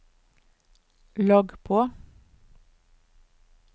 logg på